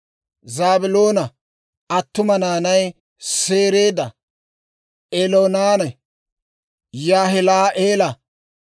Zaabiloona attuma naanay Sereeda, Eloonanne Yaahila'eela.